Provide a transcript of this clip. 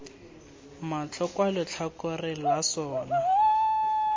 matlho kwa letlhakoreng la sona